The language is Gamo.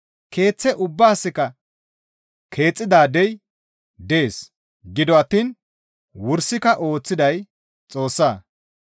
Keeththe ubbaasikka keexxidaadey dees; gido attiin wursika ooththiday Xoossa.